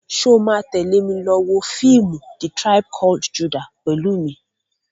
Ṣo ma tẹ́lè mi lọ wọ fíìmù "The tribe called Judah" pẹ̀lú mi?